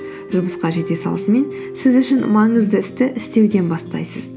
жұмысқа жете салысымен сіз үшін маңызды істі істеуден бастайсыз